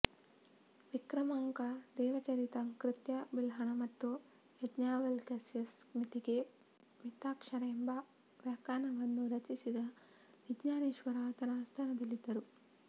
ವಿಕ್ರಮಾಂಕದೇವಚರಿತ ಕರ್ತೃ ಬಿಲ್ಹಣ ಮತ್ತು ಯಾಜ್ಞವಲ್ಕ್ಯಸ್ಮೃತಿಗೆ ಮಿತಾಕ್ಷರ ಎಂಬ ವ್ಯಾಖ್ಯಾನವನ್ನು ರಚಿಸಿದ ವಿಜ್ಞಾನೇಶ್ವರ ಆತನ ಆಸ್ಥಾನದಲ್ಲಿದ್ದರು